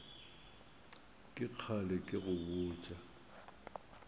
ke kgale ke go botša